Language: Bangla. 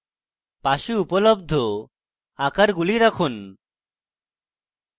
পাশে উপলব্ধ আকারগুলি রাখুন